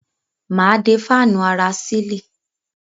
Mà á dé fáànù ara sílì.